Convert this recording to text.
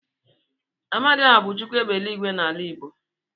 Amadioha bu Chukwu égbè eluigwe n'ala igbo.